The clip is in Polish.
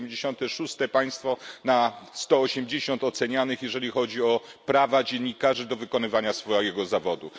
176. państwo na 180 ocenianych, jeżeli chodzi o prawa dziennikarzy do wykonywania zawodu.